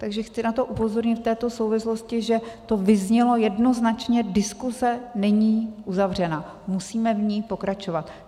Takže chci na to upozornit v této souvislosti, že to vyznělo jednoznačně: diskuse není uzavřena, musíme v ní pokračovat.